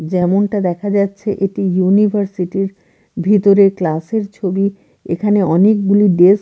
যেমনটা দেখা যাচ্ছে এটি ইউনিভার্সিটি -র ভিতরের ক্লাস -এর ছবি এখানে অনেকগুলি ডেস্ক --